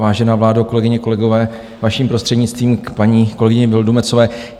Vážená vládo, kolegyně, kolegové, vaším prostřednictvím k paní kolegyni Vildumetzové.